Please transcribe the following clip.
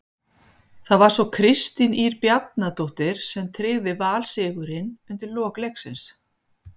Það var svo Kristín Ýr Bjarnadóttir sem tryggði Val sigurinn undir lok leiks.